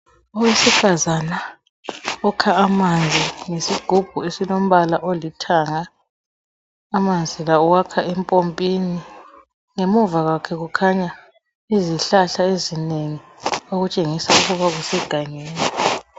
Owesifazana okha amanzi ngesigubhu esilombala olithanga. Amanzi la uwakha empompini. Ngemuva kwakhe kukhanya izihlahla ezinengi. Okutshengisa ukuba kusegangeni.